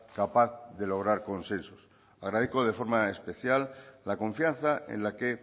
capaz de lograr consensos agradezco de forma especial la confianza en la que